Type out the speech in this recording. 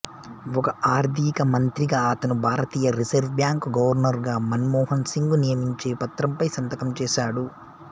ఒక ఆర్థిక మంత్రిగా అతను భారతీయ రిజర్వ్ బ్యాంక్ గవర్నరుగా మన్మోహన్ సింగ్ను నియమించే పత్రంపై సంతకం చేసాడు